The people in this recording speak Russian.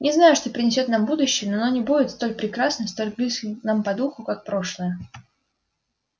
не знаю что принесёт нам будущее но оно не будет столь прекрасным столь близким нам по духу как прошлое